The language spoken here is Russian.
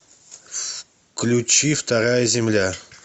включи вторая земля